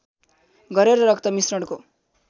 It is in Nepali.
गरेर रक्त मिश्रणको